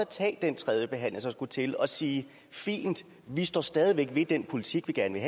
tage den tredje behandling der skulle til og sige fint vi står stadig væk ved den politik vi gerne